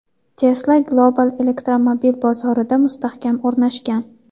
Tesla global elektromobil bozorida mustahkam o‘rnashgan.